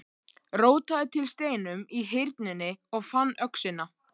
Rótaði til steinum í Hyrnunni og fann öxina.